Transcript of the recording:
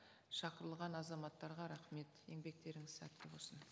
шақырылыған азаматтарға рахмет еңбектеріңіз сәтті болсын